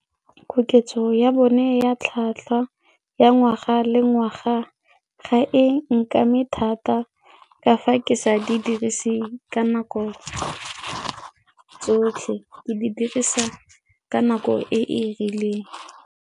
Koketso ya bone ya tlhatlhwa ya ngwaga le ngwaga ga e nkame thata ka fa ke sa di dirise ka nako ke tsotlhe, ke di dirisa ka nako e e rileng.